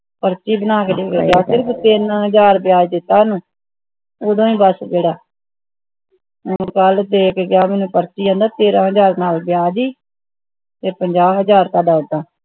ਪਰਚੀ ਬਣਾ ਕੇ ਸਿਰਫ ਤਿਨ ਹਜਾਰ ਵਿਆਜ ਦਿਤਾ ਓਹਨੂੰ ਓਹਦਾ ਹੀ ਬਸ ਜੇੜਾ ਕੱਲ ਦੇਕੇ ਗਿਆ ਮੈਨੂੰ ਪਰਚੀ ਕਹਿੰਦਾ ਤੇਰਹ ਹਜਾਰ ਨਾਲ ਵਿਆਜ ਹੈ ਤੇ ਪੰਜਾਹ ਹਜਾਰ ਥੋੜਾ ਉਦਾਂ